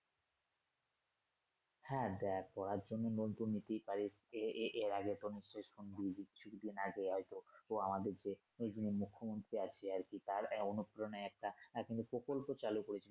হ্যা দেয়া পড়ার জন্য loan তো নিতেই পারিস এ এর আগে নিশ্চয়ই শুনবি কিছুদিন আগে এক লোক তো আমদেরকে এই যে মুখ্যমন্ত্রী আছে আরকি তার আহ অনুপ্রেরণায় একটা তিনি প্রকল্প চালু করেছেন